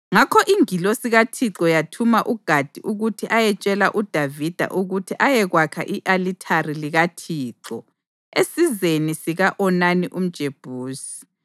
Ngakho ingilosi kaThixo yathuma uGadi ukuthi ayetshela uDavida ukuthi ayekwakha i-alithari likaThixo esizeni sika-Onani umJebusi.